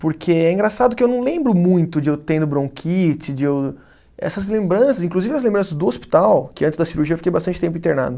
Porque é engraçado que eu não lembro muito de eu tendo bronquite, de eu... Essas lembranças, inclusive as lembranças do hospital, que antes da cirurgia eu fiquei bastante tempo internado.